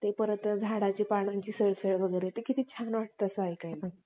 परत झाडांची पानांची सळसळ हे किती छान वाटतं ऐकायला